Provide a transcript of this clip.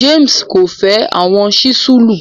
James ko fẹ awọn sísúlù